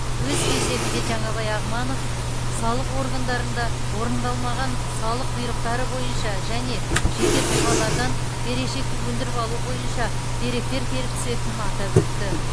өз кезегінде жаңабай ағманов салық органдарында орындалмаған салық бұйрықтары бойынша және жеке тұлғалардан берешекті өндіріп алу бойынша деректер келіп түсетінін атап өтті